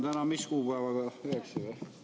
Täna on mis kuupäev?